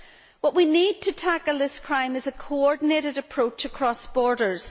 What we need to tackle this crime is a coordinated approach across borders.